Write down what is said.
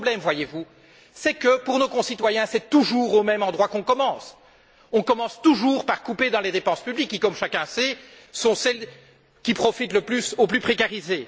Mais le problème, voyez vous, c'est que, pour nos concitoyens, c'est toujours au même endroit qu'on commence on commence toujours par couper dans les dépenses publiques, qui, comme chacun le sait, sont celles qui profitent le plus aux plus précarisés.